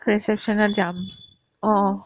reception ত যাম অ অ